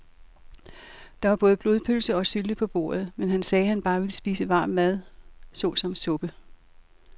Der var både blodpølse og sylte på bordet, men han sagde, at han bare ville spise varm mad såsom suppe.